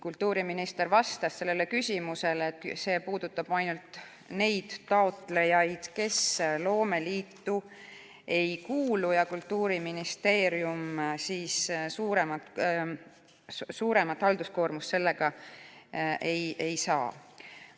Kultuuriminister vastas sellele küsimusele, et see puudutab ainult neid taotlejaid, kes loomeliitu ei kuulu ja Kultuuriministeerium suuremat halduskoormust sellega ei saa.